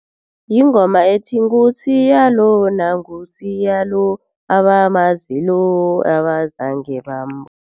Yingoma ethi, nguSiya lo nguSiya lo abamaziyo abazange bambona.